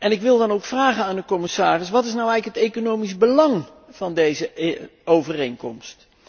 Ik wil dan ook vragen aan de commissaris Wat is nu eigenlijk het economisch belang van deze overeenkomst?